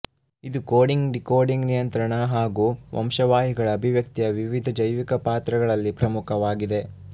ಇದು coding decoding ನಿಯಂತ್ರಣ ಹಾಗೂ ವಂಶವಾಹಿಗಳ ಅಭಿವ್ಯಕ್ತಿಯ ವಿವಿಧ ಜೈವಿಕ ಪಾತ್ರಗಳಲ್ಲಿ ಪ್ರಮುಖವಾಗಿದೆ